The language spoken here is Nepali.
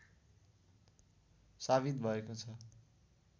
साबित भएको छ